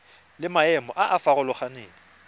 le maemo a a farologaneng